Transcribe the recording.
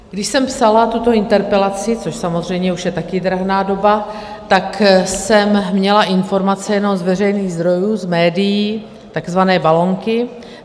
Když jsem psala tuto interpelaci, což samozřejmě už je taky drahná doba, tak jsem měla informace jenom z veřejných zdrojů, z médií, takzvané balonky.